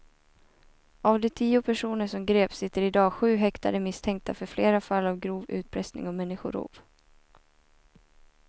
Av de tio personer som greps sitter i dag sju häktade misstänkta för flera fall av grov utpressning och människorov.